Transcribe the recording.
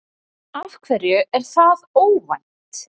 Af hverju er það óvænt?